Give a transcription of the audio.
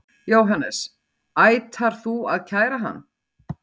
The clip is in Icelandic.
Jóhannes: Ætar þú að kæra hann?